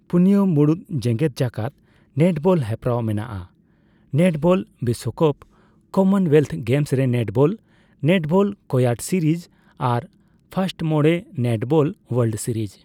ᱯᱩᱱᱭᱟᱹ ᱢᱩᱬᱩᱫ ᱡᱮᱜᱮᱫ ᱡᱟᱠᱟᱫ ᱱᱮᱴᱵᱚᱞ ᱦᱮᱯᱨᱟᱣ ᱢᱮᱱᱟᱜᱼᱟ; ᱱᱮᱴᱵᱚᱞ ᱵᱤᱥᱥᱚᱠᱟᱯ, ᱠᱚᱢᱚᱱᱳᱣᱞᱮᱛᱛᱷ ᱜᱮᱢᱥ ᱨᱮ ᱱᱮᱴᱵᱚᱞ, ᱱᱮᱴᱵᱚᱞ ᱠᱳᱭᱟᱰ ᱥᱤᱨᱤᱡ, ᱟᱨ ᱯᱷᱟᱥᱴᱢᱚᱲᱮ ᱱᱮᱴᱵᱚᱞ ᱳᱭᱟᱞᱰ ᱥᱤᱨᱤᱡ ᱾